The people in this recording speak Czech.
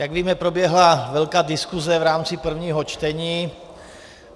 Jak víme, proběhla velká diskuse v rámci prvního čtení.